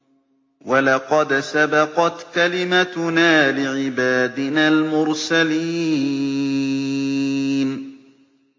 وَلَقَدْ سَبَقَتْ كَلِمَتُنَا لِعِبَادِنَا الْمُرْسَلِينَ